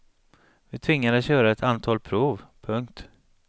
Vi tvingades göra ett antal prov. punkt